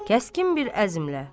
Kəskin bir əzmlə.